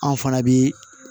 Anw fana bi